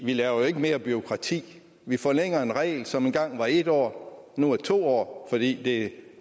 vi laver jo ikke mere bureaukrati vi forlænger en regel som engang var en år nu er to år fordi det